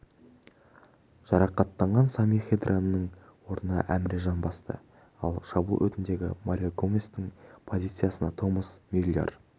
жарақаттанған сами хедираның орнын әміре жан басты ал шабуыл өтіндегі марио гоместің позициясына томас мюллер